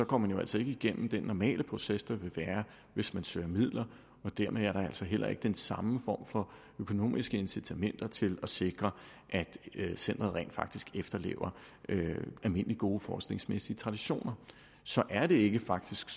går man jo altså ikke igennem den normale proces der vil være hvis man søger midler og dermed er der altså heller ikke den samme form for økonomiske incitamenter til at sikre at centeret rent faktisk efterlever almindelige gode forskningsmæssige traditioner så er det faktisk